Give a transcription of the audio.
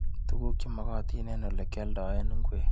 Tukuk chemakatin ebg olekyaldae ngwek.